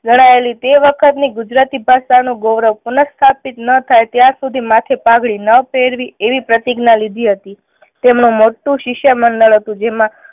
લડાયેલી તે વખત ની ગુજરાતી ભાષા નું ગૌરવ પુનઃ સ્થાપિત ના થાય ત્યાં સુધી માથે પાઘડી ના પહેરવી એવી પ્રતિજ્ઞા લીધી હતી. તેમનું મોટું શિષ્ય મંડળ હતું જેમાં